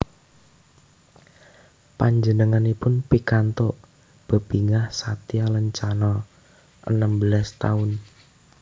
Panjenenganipun pikantuk bebingah Satya Lencana enem belas taun